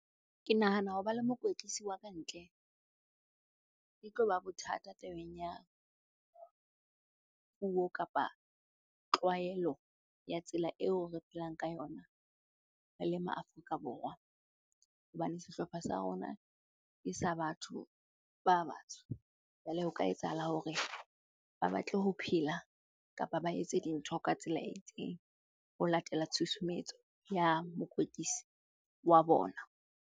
Ke nahana ho ba le mokwetlisi wa ka ntle e tlo ba bothata tabeng ya puo kapa tlwaelo ya tsela eo re phelang ka yona re le maAfrika Borwa. Hobane sehlopha sa rona ke sa batho ba batsho, jwale ho ka etsahala hore ba batle ho phela kapa ba etse dintho ka tsela e itseng ho latela tshusumetso ya mokwetlisi wa bona.